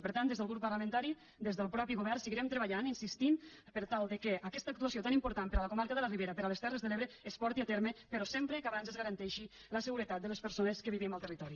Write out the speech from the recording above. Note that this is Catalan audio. per tant des del grup parlamentari des del mateix govern seguirem treballant insistint per tal que aquesta actuació tan important per a la comarca de la ribera per a les terres de l’ebre es porti a terme però sempre que abans es garanteixi la seguretat de les persones que vivim al territori